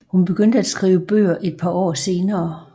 Hun begyndte at skrive bøger et par år senere